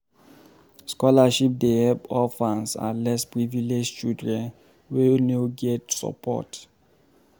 Scholarship dey help orphans and less privileged children wey no get support.